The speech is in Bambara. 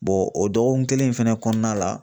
o dɔgɔkun kelen in fɛnɛ kɔnɔna la